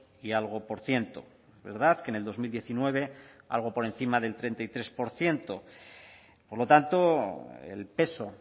y algo por ciento verdad que en el dos mil diecinueve algo por encima del treinta y tres por ciento por lo tanto el peso